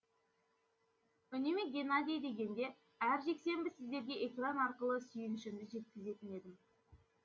үнемі геннадий дегенде әр жексенбі сіздерге экран арқылы сүйіншімді жеткізетін едім